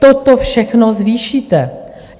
Toto všechno zvýšíte.